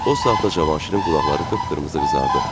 O saatda Cavanşirin qulaqları qıpqırmızı qızardı.